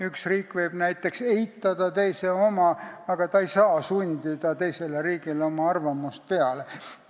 Üks riik võib näiteks teise oma eitada, aga ta ei saa teisele riigile oma arvamust peale sundida.